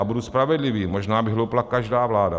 A budu spravedlivý, možná by hloupla každá vláda.